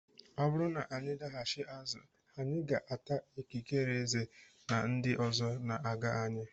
Ọ bụrụ na anyị daghachi azụ anyị aga ata ikikere eze na ndị ọzọ na-aga anyị?